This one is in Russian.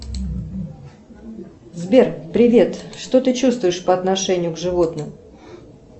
сбер привет что ты чувствуешь по отношению к животным